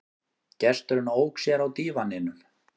Gesturinn ók sér á dívaninum.